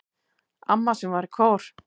Amma sem var í kór.